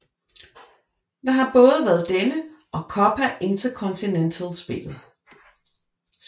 Der har både været denne og Copa Intercontinental spillet